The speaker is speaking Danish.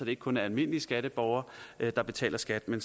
ikke kun er almindelige skatteborgere der betaler skat men